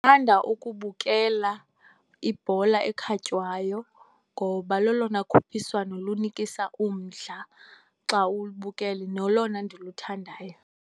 Ndithanda ukubukela ibhola ekhatywayo ngoba lolona khuphiswano lunikisa umdla xa ulubukele, nolona ndiluthandayo.